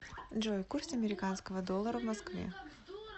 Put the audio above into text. джой курс американского доллара в москве